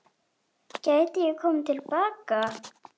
Gæti ég komið til baka?